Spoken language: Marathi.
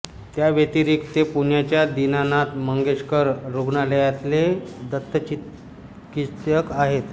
त्याव्यतिरिक्त ते पुण्याच्या दीनानाथ मंगेशकर रुग्णालयातले दंतचिकित्सक आहेत